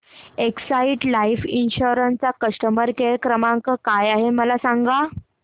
Exide life insurance चा customer care क्रमांक काय आहे मला सांगा